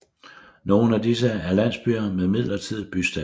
Nogen af disse er landsbyer med midlertidig bystatus